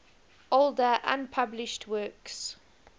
older unpublished works